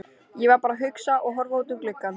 Ég var bara að hugsa og horfa út um gluggann.